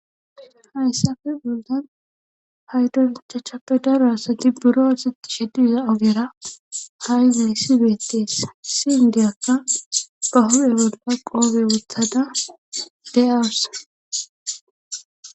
Hayssafe bollan paydon ichachappe daro asati buro oosettishe diza ogera ha7i hayssi beettees issi indiyakka ba huphe bolla qoobe wothada de7awus.